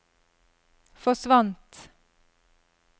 forsvant